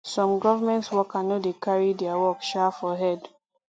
some government worker no dey carry their work um for head